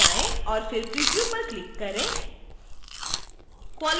file पर जाएँ और फिर preview पर क्लिक करें